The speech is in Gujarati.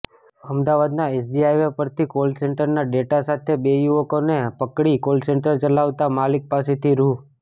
અમદાવાદના એસજી હાઇવે પરથી કોલસેન્ટરના ડેટા સાથે બે યુવકોને પકડી કોલસેન્ટર ચલાવતાં માલિક પાસેથી રૂ